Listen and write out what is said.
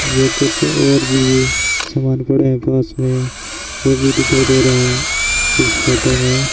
ये कुछ और भी सामान पड़े हैं पास में वो भी दिखाई दे रहा है इस फोटो में।